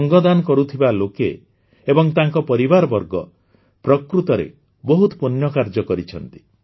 ଅଙ୍ଗଦାନ କରୁଥିବା ଲୋକେ ଏବଂ ତାଙ୍କ ପରିବାରବର୍ଗ ପ୍ରକୃତରେ ବହୁତ ପୁଣ୍ୟ କାର୍ଯ୍ୟ କରିଛନ୍ତି